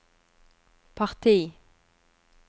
parti